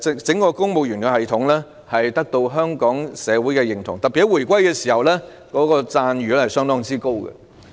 整個公務員系統獲得香港社會認同，特別是在回歸時，讚譽相當高。